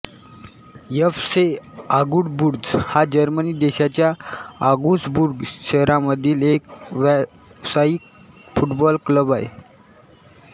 F C Augsburg हा Germany देशाच्या Augsburg शहरामधील एक व्यावसायिक फुटबॉल क्लब आहे